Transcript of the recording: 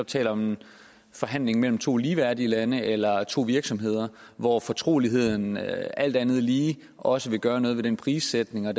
taler om en forhandling mellem to ligeværdige lande eller to virksomheder hvor fortroligheden alt andet lige også vil gøre noget ved prissætningen